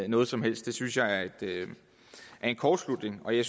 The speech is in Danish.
noget som helst det synes jeg er en kortslutning og jeg